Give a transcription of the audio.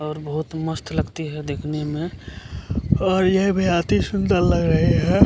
और बहुत मस्त लगती है देखने में और यह भी अति सुंदर लग रही है।